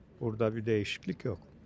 Burada bir değişiklik yox.